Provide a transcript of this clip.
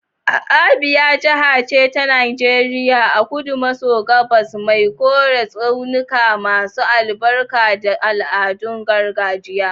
Abia jiha ce ta Najeriya a kudu maso gabas mai koren tsaunuka masu albarka da al'adun gargajiya.